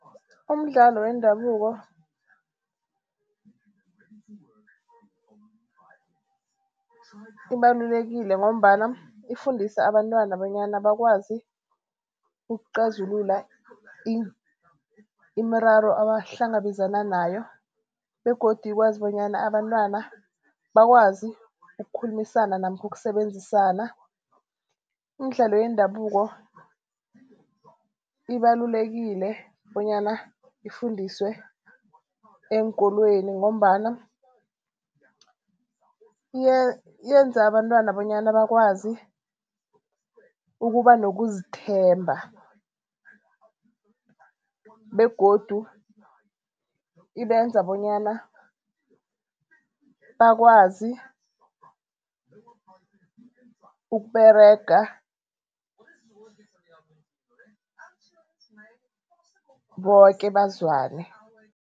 Umdlalo wendabuko ibalululekile ngombana ifundisa abantwana bonyana bakwazi ukuxazulula imiraro abahlangabezana nayo begodu ikwazi bonyana abantwana bakwazi ukukhulumisana namkhu kusebenzisana. Imidlalo yendabuko ibalulekile bonyana ifundiswe eenkolweni ngombana yenza abantwana bonyana bakwazi ukuba nokuzithemba begodu ibenza bonyana bakwazi ukUberega boke bazwane.